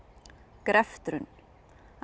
greftrun af